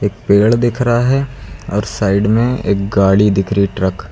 पेड़ दिख रहा है और साइड में एक गाड़ी दिख रही ट्रक ।